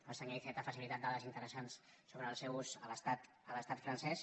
el senyor iceta ha facilitat dades interessants sobre el seu ús a l’estat francès